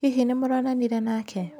Hihi nĩ mũronanire nake?